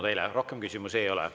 Teile rohkem küsimusi ei ole.